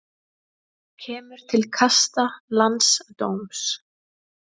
Kemur til kasta landsdóms